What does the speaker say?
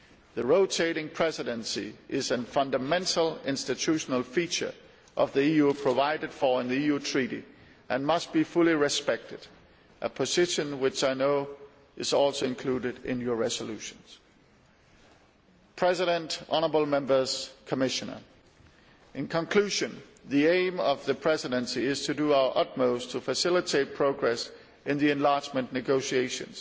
The rotating presidency is a fundamental institutional feature of the EU provided for in the EU Treaty and must be fully respected a position which I know is also included in your resolution. In conclusion, the aim of the Presidency is to do our utmost to facilitate progress in the enlargement negotiations,